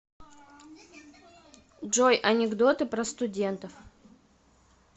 джой анекдоты про студентов